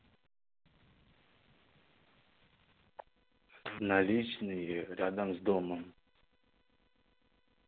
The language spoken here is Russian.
наличные рядом с домом